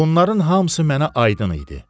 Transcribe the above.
Bunların hamısı mənə aydın idi.